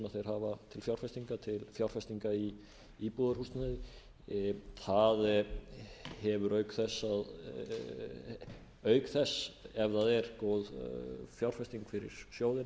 þeir hafa til fjárfestinga til fjárfestinga í íbúðarhúsnæði það hefur auk þess ef það er góð fjárfesting fyrir sjóðina